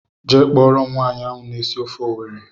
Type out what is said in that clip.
Jee kpọrọ m nwaanyị ahụ na-esi ofe Owerri!!!!